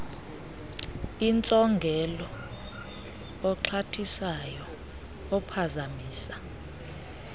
intsongelo oxhathisayo ophazamisa